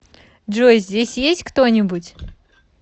джой здесь есть кто нибудь